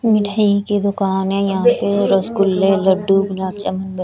मिठाई की दुकान है यहां पे रसगुल्ले लड्डू गुलाब जामुन--